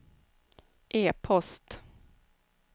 e-post